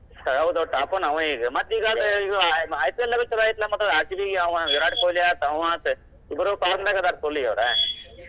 ಹೌದೌದ್ top one ಅವ ಈಗ IPL ನ್ಯಾಗೂ ಚುಲೋ ಐತಲಾ ಮತ್ actually ಅವ ವಿರಾಟ್ ಕೊಹ್ಲಿ ಆತ್ ಆವ ಆತ ಇಬ್ಬರೂ form ನ್ಯಾಗ್ ಅದಾರ full ಈಗ್ ಅವರ್.